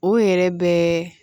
O yɛrɛ bɛɛ